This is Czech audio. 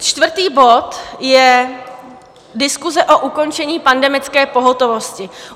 Čtvrtý bod je diskuse o ukončení pandemické pohotovosti.